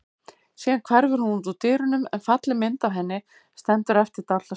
Síðan hverfur hún út úr dyrunum en falleg mynd af henni stendur eftir dálitla stund.